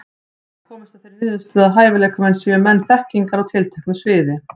Ég hef komist að þeirri niðurstöðu, að hæfileikamenn séu menn þekkingar á tilteknu sviði.